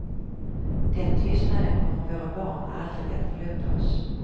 Den tystnaden kommer våra barn aldrig att förlåta oss.